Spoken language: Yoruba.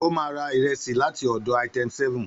Ó ma ra ìrẹsì láti ọ̀dọ̀ Item7.